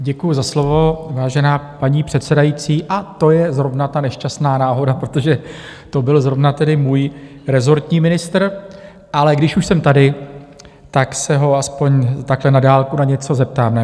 Děkuju za slovo, vážená paní předsedající, a to je zrovna ta nešťastná náhoda, protože to byl zrovna tedy můj rezortní ministr, ale když už jsem tady, tak se ho aspoň takhle na dálku na něco zeptám.